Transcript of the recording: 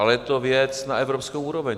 Ale je to věc na evropskou úroveň.